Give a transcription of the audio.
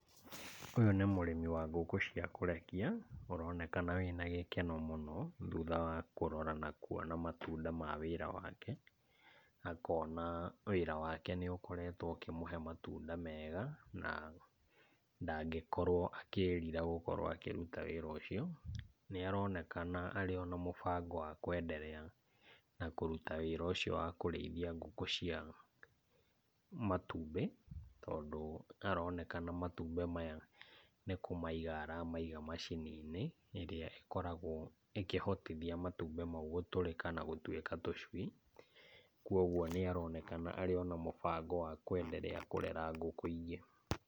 Ũyũ nĩ mũrimi wa ngũkũ cia kũrekia ũronekana wĩna gĩkeno mũno thutha wa kũrora na kuona matunda ma wĩra wake, akona wĩra wake nĩ ũkoretwo ũkĩmũhe matunda mega, na ndangĩkorwo akĩrira gũkorwo akĩruta wĩra ũcio. Nĩ aronekana arĩ ona mũbango wa kwendelea na kũruta wĩra ũcio wa kũrĩithia ngũkũ cia matumbĩ, tondũ aronekana matumbĩ maya nĩ kũmaiga aramaiga macini-inĩ ĩrĩa ĩkoragwo ĩkĩhotithia matumbĩ mau gũtũrĩka na gũtuĩka tũcui. Kuoguo nĩ aronekana arĩ ona mũbango wa kwendelea na kũrera ngũkũ ingĩ.